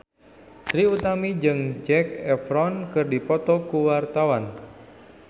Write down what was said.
Trie Utami jeung Zac Efron keur dipoto ku wartawan